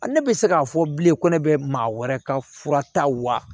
Ne bɛ se k'a fɔ bilen ko ne bɛ maa wɛrɛ ka fura ta wa